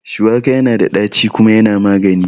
Shuwaka yana da ɗaci kuma yana magani